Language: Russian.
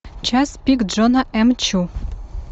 час пик джона м чу